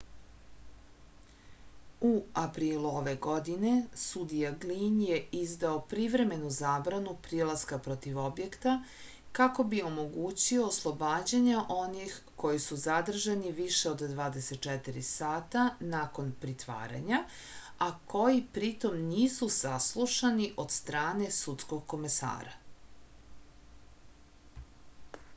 u aprilu ove godine sudija glin je izdao privremenu zabranu prilaska protiv objekta kako bi omogućio oslobađanje onih koji su zadržani više od 24 sata nakon pritvaranja a koji pritom nisu saslušani od strane sudskog komesara